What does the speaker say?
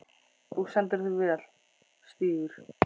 Þú stendur þig vel, Stígur!